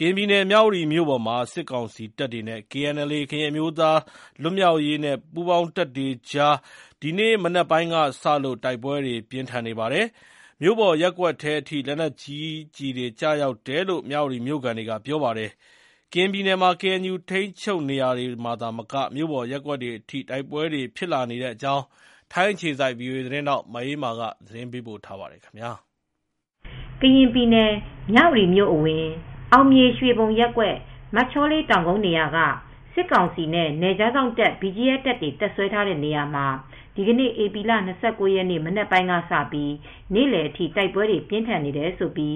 ကရင်ပြည်နယ် မြဝတီမြို့ပေါ်မှာ စစ်ေကောင်စီတပ်တွေနဲ့ KNLA ကရင်အမျိုသား လွတ်မြောက်ရေးနဲ့ ပူးပေါင်းတပ်တွေကြား ဒီနေ့ မနေ့ပိုင်းကစလို့ တိုက်ပွဲတွေ ပြင်းထန်နေပါတယ်။ မြို့ပေါ်ရပ်ကွက်ထဲအထိ လက်နက်ကြီးကျည်တွေကျရောက်တယ်လို့ မြဝတီမြို့ခံတွေက ပြောပါတယ်။ ကရင်ပြည်နယ်မှာ KNU ထိန်းချုပ်နေရာတွေမှာသာမက မြို့ပေါ်ရပ်ကွက်တွေအထိ တိုက်ပွဲတွေဖြစ်လာနေတဲ့အကြောင်း ထိုင်းအခြေစိုက် ဗွီအိုအေ သတင်းထောက်မအေးအေးမာက သတင်းပေးပို့ထားပါတယ်။ ကရင်ပြည်နယ် မြဝတီမြို့အဝင် အောင်မြေရွှေဘုံရပ်ကွက် မချောလေးတောင်ကုန်းနေရာက စစ်ကောင်စီနဲ့ နယ်ခြားစောင့်တပ် BGF တပ်တွေ တပ်စွဲထားတဲ့နေရာမှာ ဒီနေ့ ဧပြီလ ၂၉ ရက် မနက်ပိုင်းကစပြီး နေ့လယ်အထိ တိုက်ပွဲတွေပြင်းထန်နေတယ်လို့ ကေ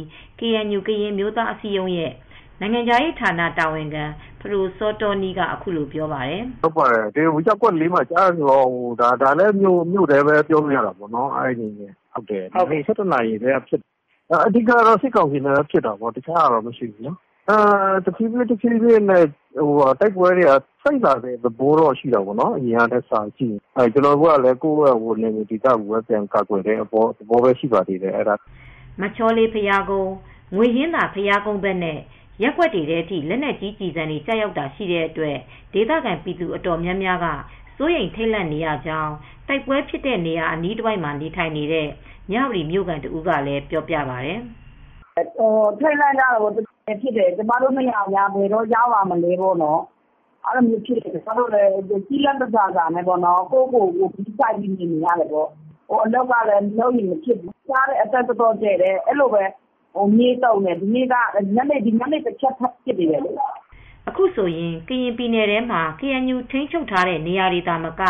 အန်ယူ ကရင်အမျိုးသားအစည်းအရုံးရဲ့နိုင်ငံခြားရေးတာဝန်ခံ ဖဒိုစောတောနီးကအခုလိုပြောပါတယ်။ “ရပ်ကွက် ထဲကြားနေရတော့ ဒါလည်း မြို့ထဲပဲပြောလို့ရတာပေါ့။ ၁၁ နာရီလောက်ကတည်းက ဖြစ်နေတာပါ။ စစ်ကောင်စီနဲ့ပဲ ဖြစ်နေတာပေါ့နော်။ တခြားဟာတော့မရှိဘူး။ တဖြည်းဖြည်းနဲ့ တိုက်ပွဲတွေက စိတ်လာတဲ့ သဘောပေါ့နော်။ ကျနော်တို့ကလည်း ကိုယ့်နယ်မြေဒေသကို ကာကွယ်တဲ့သဘောပဲရှိတာပေါ့နော်။” မချောလေး ဘုရားကုန်း ၊ ငွေဟင်္သာ ဘုရားကုန်းဘက်နဲ့ ရပ်ကွက်တွေထဲ လက်နက်ကြီးကျည်တွေကျတာတွေရှိတဲ့အတွက် ဒေသခံပြည်သူအတော်များများက စိုးရိမ်ထိတ်လန့်နေရကြောင်း တိုက်ပွဲဖြစ် တဲ့နေရာအနီးမှာနေထိုင်နေတဲ့ မြဝတီမြို့ခံတဦးကလည်းပြောပြပါတယ်။ “ထိတ်ထိတ်လန့်လန့်နဲ့ဖြစ်နေရတယ်။ ကိုယ့်ဖာသာပဲကိုယ် ဂရုစိုက်နေရတယ်။ အလုပ်ကလည်း မလုပ်ရင် မဖြစ်ဘူး။ အသံက အတော်ကျယ်တယ်။ မြေကြီးတွေပါတုန်တယ်။ ညနေဘက်လည်း လက်နက်ကြီးတချက် ထပ်ပစ်သေးတယ်။” အခုဆိုရင် ကရင်ပြည်နယ်ထဲမှာ ကေအန်ယူ ထိန်းချုပ်ရာနေရာတွေသာမက က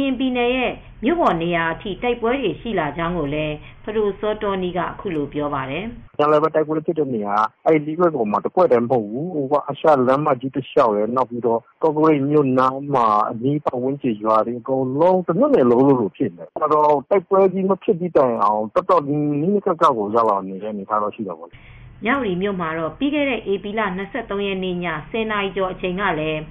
ရင်ပြည်နယ်ရဲ့မြို့ပေါ်နေရာအထိ တိုက်ပွဲတွေရှိလာကြောင်းကိုလည်း ပဒိုစောတောနီးက အခုလိုပြောပါတယ်။ “ကော့ကရိတ်မြို့နယ်နား အနီးပတ်ဝန်းကျင် ရွာအနီးနားကော တမြို့နယ်လုံးဖြစ်နေတယ်။ တိုက်ပွဲကြီးမဖြစ်တဲ့တိုင်အောင် တော်တော်ကြီး နီးနီးကပ်ကပ်ရောက်လာတဲ့ အနေအထားရှိတယ်။” မြဝတီ မြို့မှာတော့ ပြီးခဲ့တဲ့ ဧပြီလ ၂၃ ရက်ည ၁၀ နာရီကျော်အချိန်ကလည်း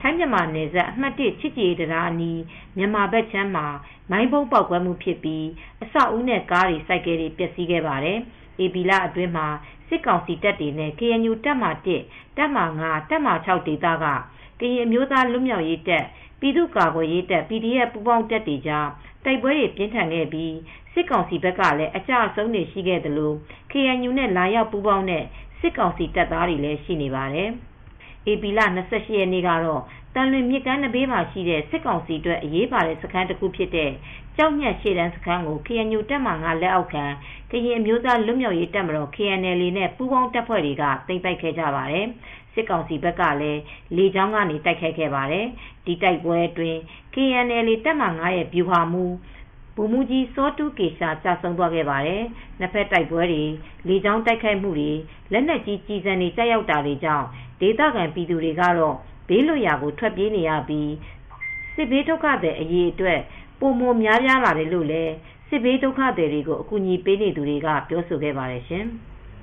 ထိုင်း-မြန်မာ နယ်စပ် အမှတ် ၁ ချစ်ကြည်ရေးတံတားအနီး မြန်မာဘက်ခြမ်းမှာ မိုင်းဗုံးပေါက်ကွဲမှု ဖြစ်ပြီး အဆောက်အဦးနဲ့ ကားတွေ ဆိုင်ကယ်တွေ ပျက်စီးခဲ့ပါတယ်။ ဧပြီလအတွင်းမှာ စစ်ကောင်စီတပ်တွေနဲ့ ကေအန်ယူတပ်မဟာ ၊ တပ်မဟာ ၊ တပ်မဟာ ဒေသက ကရင်အမျိုးသားလွတ်မြောက်ရေးတပ်၊ ပြည်သူ့ကာကွယ်ရေးတပ် PDF ပူးပေါင်းတပ်တွေကြားတိုက်ပွဲတွေပြင်းထန်ခဲ့ပြီး စစ်ကောင်စီဘက်ကလည်း အကျအဆုံးတွေရှိခဲ့သလို ကေအန်ယူနဲ့လာရောက် ပူးပေါင်းတဲ့ စစ်ကောင်စီတပ်သားတွေလည်းရှိပါတယ်။ ဧပြီလ ၂၈ ရက်နေ့ကတော့ သံလွင် မြစ်ကမ်းနံဘေးမှာ ရှိတဲ့စစ်ကောင်စီအတွက် အရေးပါတဲ့စခန်းတခုဖြစ်တဲ့ ကျောက်ညှပ်ရှေ့တန်းစခန်းကို KNU တပ်မဟာ လက်အောက်ခံ ကရင်အမျိုးသားလွတ် မြောက်ရေးတပ်မတော် KNLA နဲ့ ပူးပေါင်းတပ်ဖွဲ့တွေက သိမ်းပိုက်ခဲ့ကြပါတယ်။ စစ်ကောင်စီဘက်ကလည်း လေကြောင်းကနေ တိုက်ခိုက်ခဲ့ပါတယ်။ ဒီတိုက်ပွဲအတွင်း KNLA တပ်မဟာ ရဲ့ ဗျူဟာမှူး ဗိုလ်မှူးကြီး စောထူးကေရှာ သေဆုံးသွားခဲ့ပါတယ်။ ၂ ဘက်တိုက်ပွဲတွေ၊ လေကြောင်းတိုက်ခိုက်မှုတွေ၊ လက်နက်ကြီးကျည်ဆံတွေ ကျရောက်တာကြောင့် ဒေသခံပြည်သူတွေကတော့ ဘေးလွတ်ရာကို ထွက်ပြေးနေ ရပြီး စစ်ဘေးဒုက္ခသည်အရေအတွက် ပိုမိုများပြားလာတယ်လို့ စစ်ဘေးဒုက္ခသည်တွေကိုအကူညီပေးနေသူတွေကပြောဆိုကြပါတယ်ရှင်။